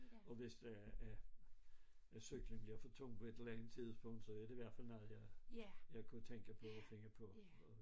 Og hvis øh øh at cyklen bliver for tung på et eller andet tidspunkt så er det i hvert fald noget jeg jeg kunne tænke på at finde på